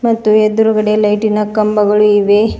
ಮತ್ತು ಎದ್ರುಗಡೆ ಲೈಟಿನ ಕಂಬಗಳು ಇವೆ.